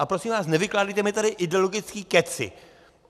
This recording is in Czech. Ale prosím vás, nevykládejte mi tady ideologický kecy.